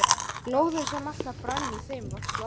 Glóðin sem alltaf brann í þeim var slokknuð.